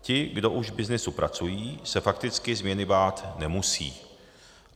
Ti, kdo už v byznysu pracují, se fakticky změny bát nemusí.